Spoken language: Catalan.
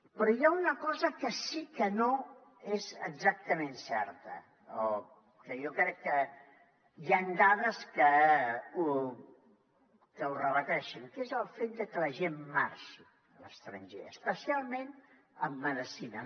però hi ha una cosa que sí que no és exactament certa o que jo crec que hi han dades que ho rebaten que és el fet de que la gent marxi a l’estranger especialment en medicina